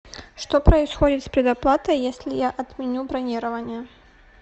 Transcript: что происходит с предоплатой если я отменю бронирование